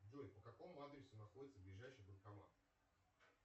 джой по какому адресу находится ближайший банкомат